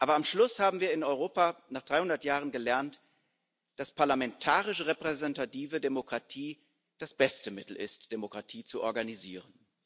Aber am Schluss haben wir in Europa nach 300 Jahren gelernt, dass parlamentarische repräsentative Demokratie das beste Mittel ist, Demokratie zu organisieren.